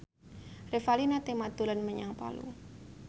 Revalina Temat dolan menyang Palu